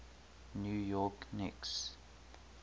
new york knicks